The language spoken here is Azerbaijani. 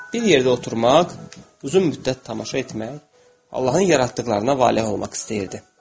Bir yerdə oturmaq, uzun müddət tamaşa etmək, Allahın yaratdıqlarına vale olmaq istəyirdi.